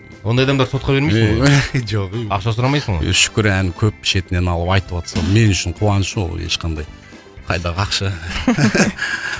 ондай адамдарды сотқа бермейсің ғой жоқ ей ақша сұрамайсың ғой шүкір ән көп шетінен алып айтыватса мен үшін қуаныш ол ешқандай қайдағы ақша